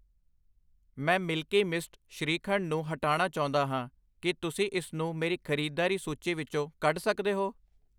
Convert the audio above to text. ਮੈਂ Milky Mist shrikhand ਨੂੰ ਹਟਾਣਾ ਚਾਹੁੰਦਾ ਹਾਂ, ਕੀ ਤੁਸੀਂ ਇਸਨੂੰ ਮੇਰੀ ਖਰੀਦਦਾਰੀ ਸੂਚੀ ਵਿੱਚੋਂ ਕੱਢ ਸਕਦੇ ਹੋ?